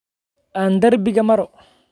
Aan darbiga maro